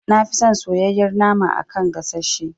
Nafi son soyayyar nama a kan gasashe.